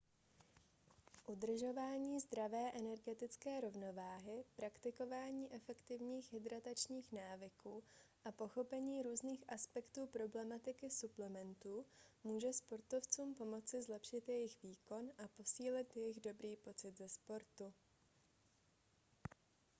udržování zdravé energetické rovnováhy praktikování efektivních hydratačních návyků a pochopení různých aspektů problematiky suplementů může sportovcům pomoci zlepšit jejich výkon a posílit jejich dobrý pocit ze sportu